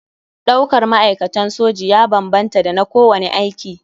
Ɗaukar ma'aikatan soji ya banbanta da na kowane aiki.